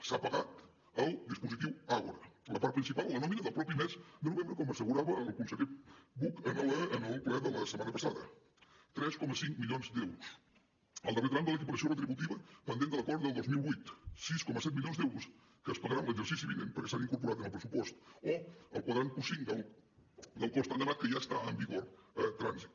s’ha pagat el dispositiu àgora la part principal la nòmina del mateix mes de novembre com assegurava el conseller buch en el ple de la setmana passada tres coma cinc milions d’euros el darrer tram de l’equiparació retributiva pendent de l’acord del dos mil vuit sis coma set milions d’euros que es pagaran en l’exercici vinent perquè s’han incorporat en el pressupost o el quadrant q5 del cos tan demanat que ja està en vigor a trànsit